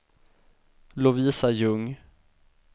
Lovisa Ljung